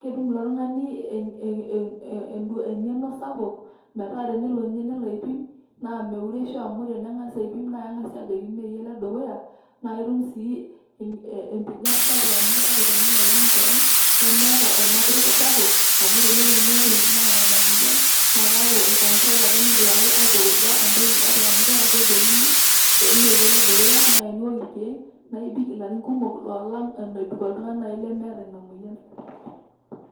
ketum eng'eno sapuk metaa tenelo ninye nelo aipim naameuresho amu kejokini meyie ole dukuya , naa ketum sii empinyan sapuk naa keetae naa irkeek lenyanak naa kishunyie sii.